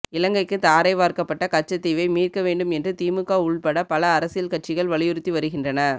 இலங்கைக்கு தாரை வார்க்கப்பட்ட கச்சத்தீவை மீட்க வேண்டும் என்று திமுக உள்பட பல அரசியல் கட்சிகள் வலியுறுத்தி வருகின்றன